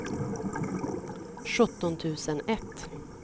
sjutton tusen ett